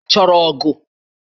Ị chọrọ ogu?